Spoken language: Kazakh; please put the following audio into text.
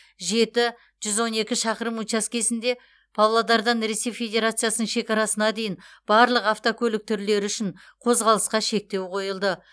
жеті жүз он екі шақырым учаскесінде павлодардан ресей федерациясының шекарасына дейін барлық автокөлік түрлері үшін қозғалысқа шектеу қойылды